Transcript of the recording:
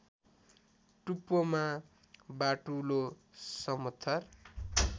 टुप्पोमा बाटुलो समथर